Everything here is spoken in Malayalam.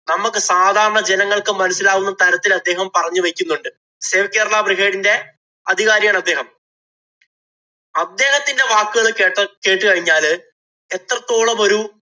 നമ്മക്ക് സാധാരണ ജനങ്ങള്‍ക്ക്‌ മനസ്സിലാവുന്ന തരത്തില്‍ പറഞ്ഞു വയ്ക്കുന്നുണ്ട്‌. Save Kerala brigade ഇന്‍റെ അധികാരിയാണ് അദ്ദേഹം. അദ്ദേഹത്തിന്‍റെ വാക്കുകള്‍ കേട്ട കേട്ടു കഴിഞ്ഞാല് എത്രത്തോളം ഒരു